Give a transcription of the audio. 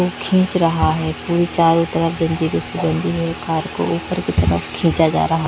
वो खींच रहा है फिर चारों तरफ बंधी है कार को ऊपर की तरफ खींचा जा रहा --